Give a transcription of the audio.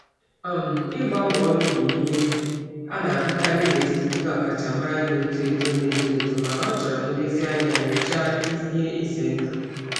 Ịgbanwe ọrụ bụ ihe a na-ahụkarị n'etiti ndị ọkachamara na-eto eto mana ọ chọrọ nyocha ihe egwu nke ọma.